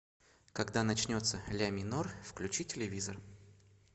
когда начнется ля минор включи телевизор